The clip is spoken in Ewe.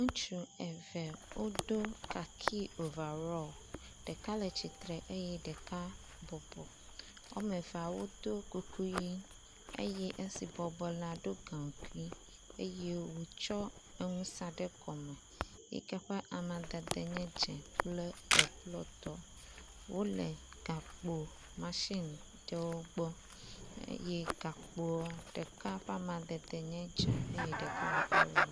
Ŋutsu eve wodo kaki overall, ɖeka le tsitre eye ɖeka bɔbɔ womevee wodo kokoe eye nu si bɔbɔ la do gankui eye wotsɔ enu sa ɖe kɔme, yi ke amadede nye dze kple eblɔtɔ, wole gakpo machime ɖewo gbɔ eye gakpoa ɖeka ƒe amadede le dze eye ɖeka le orange